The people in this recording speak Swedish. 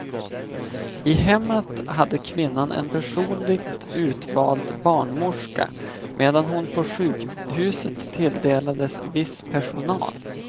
I hemmet hade kvinnan en personligt utvald barnmorska, medan hon på sjukhuset tilldelades viss personal.